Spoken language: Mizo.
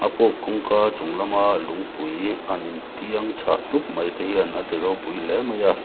puk kawngka chunglam a lungpui han intiang chhah tup mai te hian a ti ropui hle mai a.